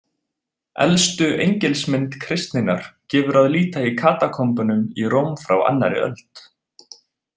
Elstu engilsmynd kristninnar gefur að líta í katakombunum í Róm frá önnur öld.